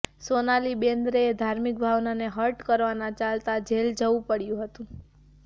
સોનાલી બેન્દ્રેને ધાર્મિક ભાવનાને હર્ટ કરવાના ચાલતા જેલ જાવું પડ્યું હતું